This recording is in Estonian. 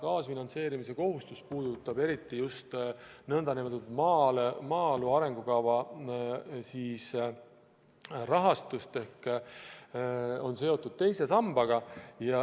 Kaasfinantseerimise kohustus puudutab eriti just maaelu arengukava rahastust ehk on seotud teise sambaga.